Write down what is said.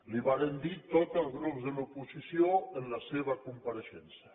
li ho vàrem dir tots els grups de l’oposició en la seva compareixença